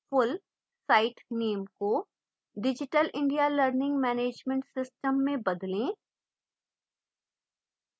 full site name को digital india learning management system में बदलें